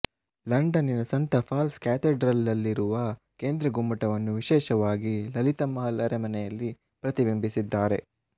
ಲಂಡನಿನ ಸಂತ ಪಾಲ್ಸ್ ಕ್ಯಾಥೆಡ್ರಲ್ನಲ್ಲಿರುವ ಕೇಂದ್ರ ಗುಮ್ಮಟವನ್ನು ವಿಶೇಷವಾಗಿ ಲಲಿತ ಮಹಲ್ ಅರಮನೆಯಲ್ಲಿ ಪ್ರತಿಬಿಂಬಿಸಿದ್ದಾರೆ